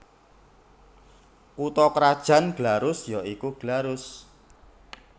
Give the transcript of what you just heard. Kutha krajan Glarus ya iku Glarus